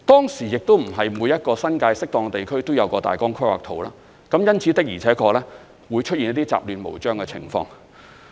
當時亦不是每一個新界適當地區都有大綱規劃圖，因此，的而且確會出現一些雜亂無章的情況。